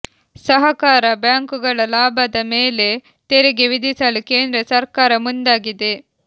ಸಹಕಾರ ಬ್ಯಾಂಕ್ ಗಳ ಲಾಭದ ಮೇಲೆ ತೆರಿಗೆ ವಿಧಿಸಲು ಕೇಂದ್ರ ಸರ್ಕಾರ ಮುಂದಾಗಿದೆ